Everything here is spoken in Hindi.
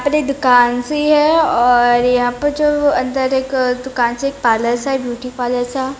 पर एक दुकान सी है और यहाँ पर जो अंदर एक दुकान सी है पार्लर सा है ब्यूटी पार्लर सा।